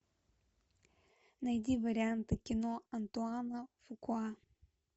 найди варианты кино антуана фукуа